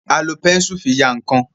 a lò Bẹ́ńsù fí yá nkán